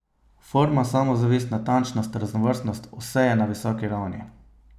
Forma, samozavest, natančnost, raznovrstnost, vse je na visoki ravni.